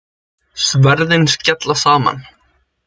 Sverðin skella saman.